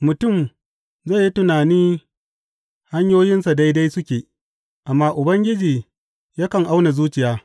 Mutum zai yi tunani hanyoyinsa daidai suke, amma Ubangiji yakan auna zuciya.